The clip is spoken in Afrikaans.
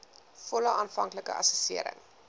volle aanvanklike assessering